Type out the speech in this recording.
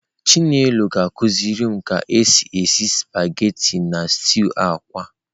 Chinelo akuzirim ka esi esi spaghetị na stew akwa.